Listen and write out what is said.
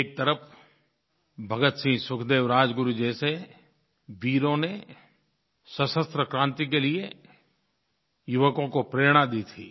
एक तरफ़ भगतसिंह सुखदेव राजगुरु जैसे वीरों ने सशस्त्र क्रांति के लिये युवकों को प्रेरणा दी थी